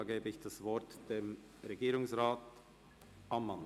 Ich erteile das Wort Regierungsrat Ammann.